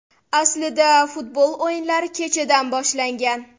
Aslida futbol o‘yinlari kechadan boshlangan.